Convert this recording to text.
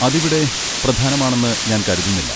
അത് ഇവിടെ പ്രധാനമാണെന്ന് ഞാൻ കരുതുന്നില്ല.